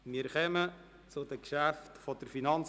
Wir kommen zu den Geschäften der FIN.